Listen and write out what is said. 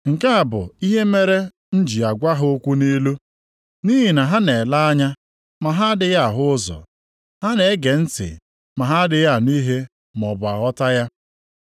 Nke a bụ ihe mere m ji agwa ha okwu nʼilu: “Nʼihi na ha na-ele anya, ma ha adịghị ahụ ụzọ, ha na-ege ntị, ma ha adịghị anụ ihe maọbụ aghọta ya.